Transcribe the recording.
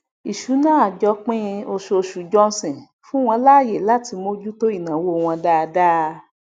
ìṣúná àjọpín oṣooṣù johnson fún wọn láàyè latí mojú tó ìnáwó wọn dáadáa